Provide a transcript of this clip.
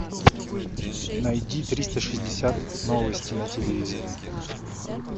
найди триста шестьдесят новости на телевизоре